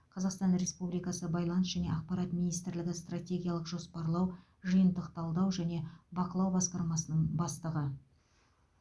қазақстан республикасы байланыс және ақпарат министрлігі стратегиялық жоспарлау жиынтық талдау және бақылау басқармасының бастығы